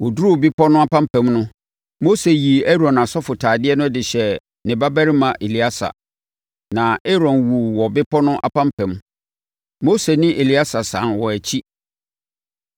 Wɔduruu bepɔ no apampam no, Mose yii Aaron asɔfotadeɛ no de hyɛɛ ne babarima Eleasa, na Aaron wuu wɔ bepɔ no apampam. Mose ne Eleasa sane wɔn akyi,